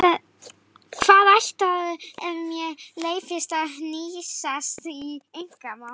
Hvaðan ættaður ef mér leyfist að hnýsast í einkamál?